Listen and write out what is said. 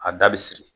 A da bɛ siri